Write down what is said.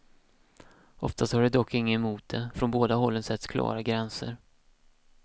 Oftast har de dock inget emot det, från båda hållen sätts klara gränser.